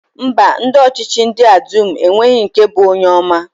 Mba, ndị ọchịchị ndị a dum enweghị nke bụ onye ọma.